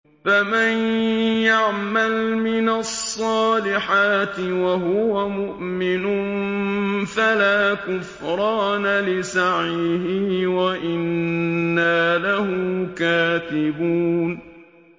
فَمَن يَعْمَلْ مِنَ الصَّالِحَاتِ وَهُوَ مُؤْمِنٌ فَلَا كُفْرَانَ لِسَعْيِهِ وَإِنَّا لَهُ كَاتِبُونَ